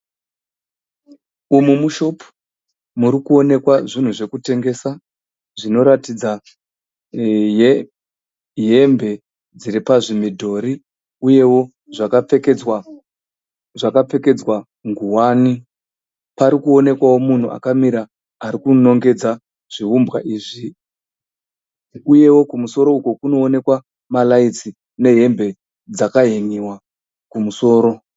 Umu mushopu muri kuonekwa zvinhu zvokutengesa zvinoratidza hembe dziri pazvimidhori uyewo zvakapfekedzwa nguwani. Pari kuonekwa munhu akamira ari kunongedza zviumbwa izvi. Uyewo kumusoro uko kunoonekwa maraitsi nehembe dzakahen'iwa kumusoro.